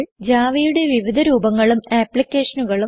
Javaയുടെ വിവിധ രൂപങ്ങളും ആപ്ലിക്കേഷനുകളും